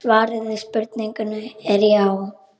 Svarið við spurningunni er já.